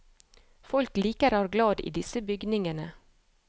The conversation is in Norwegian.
Folk liker og er glad i disse bygningene.